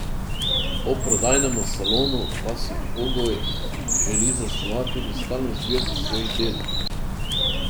Ob prodajnem salonu pa si Kogoj želi zasnovati tudi stalno zbirko svojih del.